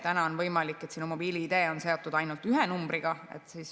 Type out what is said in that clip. Täna on võimalik, et sinu mobiil‑ID on seotud ainult ühe numbriga.